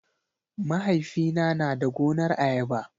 Mahaifina na da gonar ayaba.